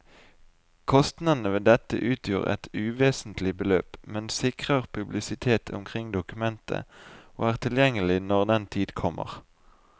Kostnadene ved dette utgjør et uvesentlig beløp, men sikrer publisitet omkring dokumentet og er tilgjengelig når den tid kommer.